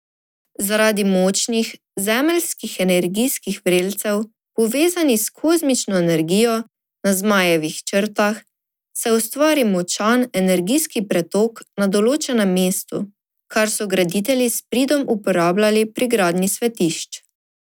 Zaradi močnih zemeljskih energijskih vrelcev, povezanih s kozmično energijo, na zmajevih črtah, se ustvari močan energijski pretok na določenem mestu, kar so graditelji s pridom uporabljali pri gradnji svetišč.